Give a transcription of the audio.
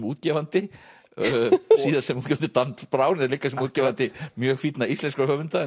útgefandi síðast sem útgefandi dans Brown en líka sem útgefandi mjög fínna íslenskra höfunda